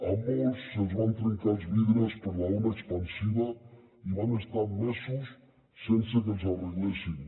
a molts se’ls van trencar els vidres per l’ona expansiva i van estar mesos sense que els hi arreglessin